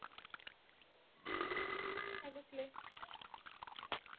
काय बसलेय.